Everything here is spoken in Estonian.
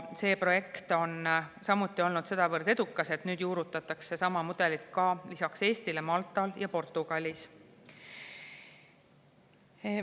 See projekt on olnud sedavõrd edukas, et nüüd juurutatakse sama mudelit lisaks Eestile Maltal ja Portugalis.